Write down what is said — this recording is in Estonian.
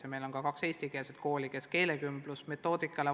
Ja meil ongi kaks eestikeelset kooli, kes õpetavad vastavalt keelekümbluse erimetoodikale.